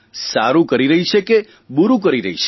સારૂં કરી રહી છે કે બૂરૂં કરી રહી છે